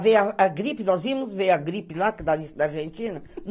Veio a gripe, nós íamos ver a gripe lá da Argentina.